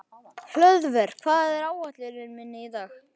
Hlöðver, hvað er á áætluninni minni í dag?